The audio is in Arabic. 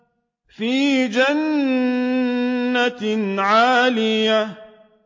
فِي جَنَّةٍ عَالِيَةٍ